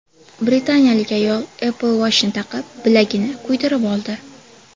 Britaniyalik ayol Apple Watch’ni taqib, bilagini kuydirib oldi.